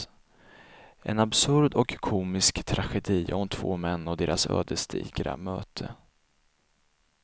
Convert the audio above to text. En absurd och komisk tragedi om två män och deras ödesdigra möte.